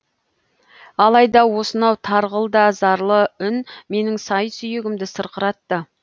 алайда осынау тарғыл да зарлы үн менің сай сүйегімді сырқыратты